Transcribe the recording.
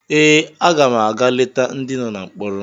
Ee, aga m aga leta ndị nọ na mkpọrọ